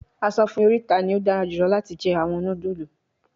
A sọ fun mi orita ni o dara julọ lati jẹ awọn nudulu